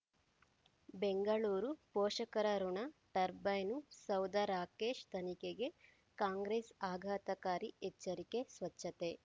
ಬೆಂಗಳೂರು ಪೋಷಕರಋಣ ಟರ್ಬೈನು ಸೌಧ ರಾಕೇಶ್ ತನಿಖೆಗೆ ಕಾಂಗ್ರೆಸ್ ಆಘಾತಕಾರಿ ಎಚ್ಚರಿಕೆ ಸ್ವಚ್ಛತೆ